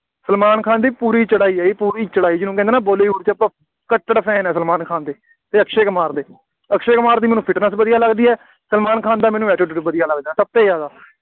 ਸਲਮਾਨ ਖਾਨ ਦੀ ਪੂਰੀ ਚੜ੍ਹਾਈ ਹੈ, ਜੀ ਪੂਰੀ ਚੜ੍ਹਾਈ, ਜਿਹਨੂੰ ਕਹਿੰਦੇ ਹਾਂ ਨਾ ਬਾਲੀਵੁੱਡ ਵਿੱਚ, ਆਪਾਂ ਕੱਟੜ fan ਆ ਸਲਮਾਨ ਖਾਨ ਦੇ ਅਤੇ ਅਕਸ਼ੇ ਕੁਮਾਰ ਦੇ, ਅਕਸ਼ੇ ਕੁਮਾਰ ਦੀ ਮੈਨੂੰ fitness ਵਧੀਆ ਲੱਗਦੀ ਹੈ, ਸਲਮਾਨ ਖਾਨ ਦਾ ਮੈਨੂੰ attitude ਵਧੀਆ ਲੱਗਦਾ, ਸਭ ਤੋਂ ਜ਼ਿਆਦਾ,